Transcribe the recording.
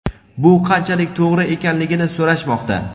bu qanchalik to‘g‘ri ekanligini so‘rashmoqda.